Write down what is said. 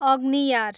अग्नियार